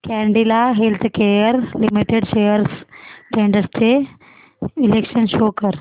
Cadila healthcare limited shares trends चे विश्लेषण show कर